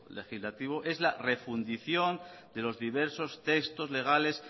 legislativo es la refundición de los diversos textos legales